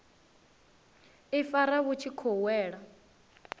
ifara vhu tshi khou wela